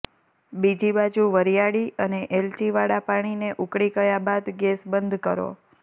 બીજી બાજુ વરિયાળી અને એલચીવાળા પાણીને ઉકળી ગયા બાદ ગેસ બંધ કરો